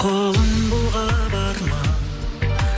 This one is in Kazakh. қолын бұлғап арман